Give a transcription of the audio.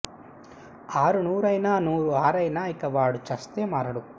ఆరు నూరు అయినా నూరు ఆరు అయినా ఇక వాడు చస్తే మారడు